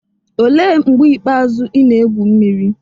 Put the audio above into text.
olee mgbe ikpeazụ ị na-egwu mmiri?